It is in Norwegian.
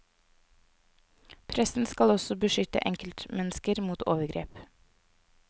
Pressen skal også beskytte enkeltmennesker mot overgrep.